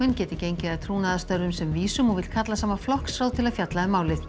geti gengið að trúnaðarstörfum sem vísum og vill kalla saman flokksráð til að fjalla um málið